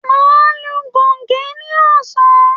Màá lu goge ní ọ̀sán